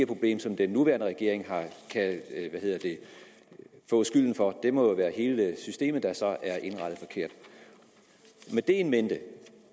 problem som den nuværende regering kan få skylden for det må jo være hele systemet der så er indrettet forkert med det in mente